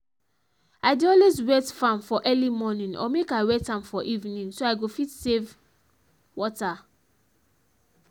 i dey always wet farm for early morning or make i wet am for evening so i go fit save water